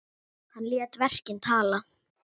Hann lét verkin tala.